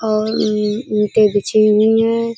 और उम्म ईंटें बिछी हुई है।